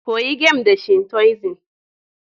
Koyi game da Shintoism